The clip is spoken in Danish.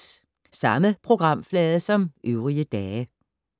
Samme programflade som øvrige dage